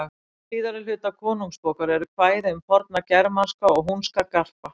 Í síðara hluta Konungsbókar eru kvæði um forna germanska og húnska garpa.